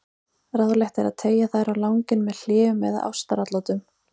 Ráðlegt er að teygja þær á langinn með hléum eða ástaratlotum.